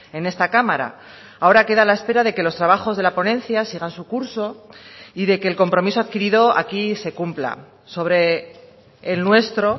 en esta cámara ahora queda la espera de que los trabajos de la ponencia sigan su curso y de que el compromiso adquirido aquí se cumpla sobre el nuestro